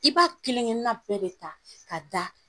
I b'a kelenkelenna bɛɛ de ta ka da.